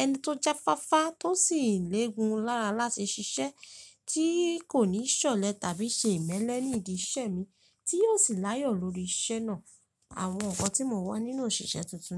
ẹni tó jáfáfá tó sì légun lárá láti ṣiṣẹ́ tí kò ní ṣọ̀lẹ tàbí ṣe ìmẹ́lẹ́ ní ìdí iṣẹ́ mi tí yóò sì láyọ̀ lórí iṣẹ́ náà. Àwọn nǹkan tí mo wà nínú òṣìṣẹ́ tuntun.